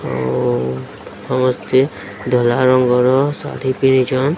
ଆଉ ଅମସ୍ତେ ଧଲା ରଙ୍ଗର ଶାଢ଼ୀ ପିନ୍ଧିଛନ୍।